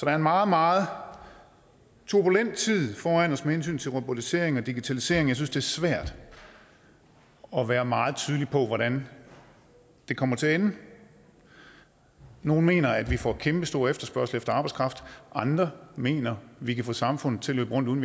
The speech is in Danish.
er en meget meget turbulent tid foran os med hensyn til robotisering og digitalisering jeg synes det er svært at være meget tydelig på hvordan det kommer til at ende nogle mener at vi får kæmpestor efterspørgsel efter arbejdskraft andre mener vi kan få samfundet til at løbe rundt uden